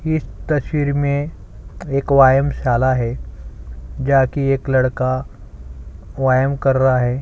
इस तस्वीर में एक वाइमसाला है जाकी एक लड़का वाइम कर रहा हैं।